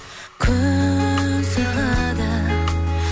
күн сырғыды